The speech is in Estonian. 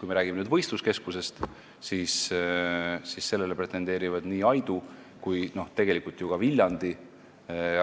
Kui me räägime võistluskeskusest, siis sellele pretendeerivad nii Aidu kui ka Viljandi,